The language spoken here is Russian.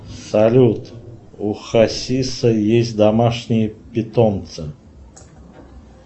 салют у хасиса есть домашние питомцы